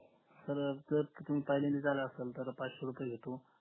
जर तुम्ही पहिल्यांदाच आला असेल तर पाचशे रुपये घेतो